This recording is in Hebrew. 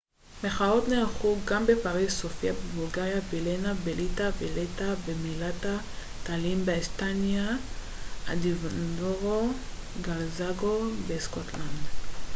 מחאות נערכו גם בפריז סופיה בבולגריה וילנה בליטא ולטה במלטה טאלין באסטוניה ואדינבורו וגלזגו בסקוטלנד